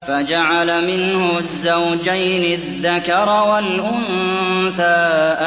فَجَعَلَ مِنْهُ الزَّوْجَيْنِ الذَّكَرَ وَالْأُنثَىٰ